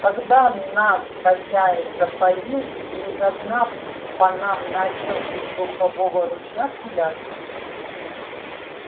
когда нас хозяин запалил и из окна по нам начал из духового ружья пулять